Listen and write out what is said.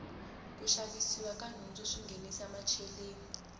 ku xavisiwa ka nhundzu swi nghenisa macheleni